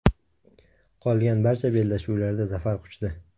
Qolgan barcha bellashuvlarda zafar quchdi.